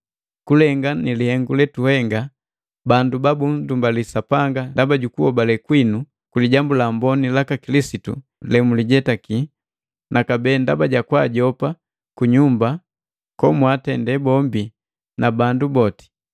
Kulengana nilihengu letuhenga, bandu banndumbalia Sapanga ndaba jukuhobale kwinu ku Lijambu la Amboni ya Kilisitu jemujijetake, nakabee ndaba jakwaajopa kunyumba komwaatende bombi na bandu boti.